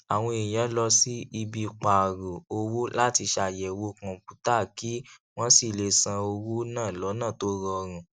àwọn èèyàn lọ sí ibi pààrò owó láti ṣàyẹwò kọǹpútàkí wọn sì lè san owó náà lọnà tó rọrùn